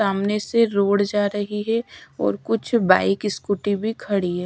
सामने से रोड जा रही है और कुछ बाइक स्कूटी भी खड़ी है।